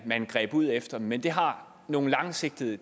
man greb ud efter men det har nogle langsigtede